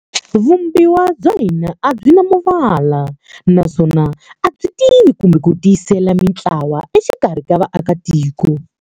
"Vumbiwa bya hina a byi na muvala, naswona a byi tivi kumbe ku tiyiselela mintlawa exikarhi ka vaakatiko.